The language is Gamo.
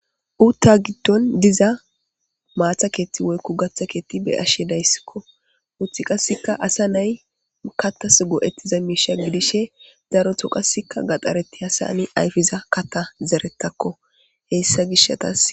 Uta gidon diza mata kethi woyko gatha kethi be'ashe daysko uti qaseka asa nay katas go'etiza misha gidishin daroto qaseka gadharetiyasani ayfiza katha zeretako heysa gishatasi.